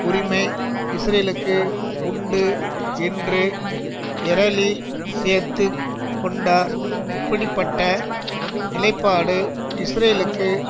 உரிமை இஸ்ரேலுக்கு உண்டு என்று எரேலி சேர்த்து கொண்டார் இப்படி பட்ட நிலைப்பாடு இஸ்ரேலுக்கு